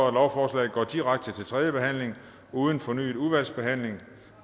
at lovforslaget går direkte til tredje behandling uden fornyet udvalgsbehandling